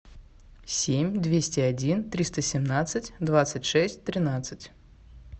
семь двести один триста семнадцать двадцать шесть тринадцать